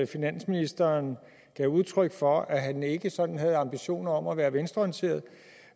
finansministeren gav udtryk for at han ikke sådan havde ambitioner om at være venstreorienteret